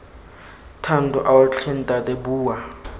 thando ao tlhe ntate bua